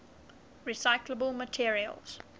recyclable materials